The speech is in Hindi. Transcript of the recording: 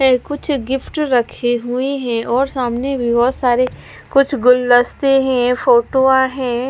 एह कुछ गिफ्ट रखे हुए है और सामने भी बहोत सारे कुछ गुलदस्ते ही है फोटोआ हैं।